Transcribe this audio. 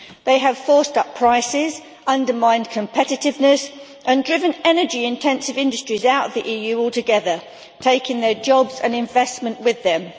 They have forced up prices, undermined competitiveness and driven energy intensive industries out of the EU altogether, taking their jobs and investment with them.